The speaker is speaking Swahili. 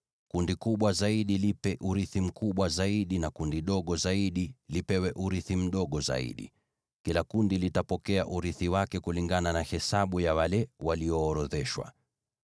Kundi kubwa zaidi lipe urithi mkubwa zaidi, na kundi dogo zaidi lipewe urithi mdogo zaidi; kila kundi litapokea urithi wake kulingana na hesabu ya wale walioorodheshwa.